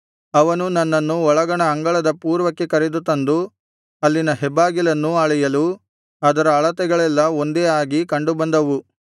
ಅವನು ನನ್ನನ್ನು ಒಳಗಣ ಅಂಗಳದ ಪೂರ್ವಕ್ಕೆ ಕರೆದು ತಂದು ಅಲ್ಲಿನ ಹೆಬ್ಬಾಗಿಲನ್ನೂ ಅಳೆಯಲು ಅದರ ಅಳತೆಗಳೆಲ್ಲಾ ಒಂದೇ ಆಗಿ ಕಂಡುಬಂದವು